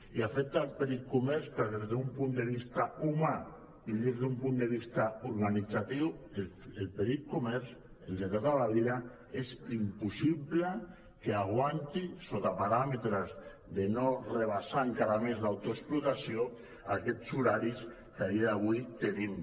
i afecta al petit comerç perquè des d’un punt de vista humà i des d’un punt de vista organitzatiu el petit comerç el de tota la vida és impossible que aguanti sota parà·metres de no ultrapassar encara més l’autoexplotació aquests horaris que a dia d’avui tenim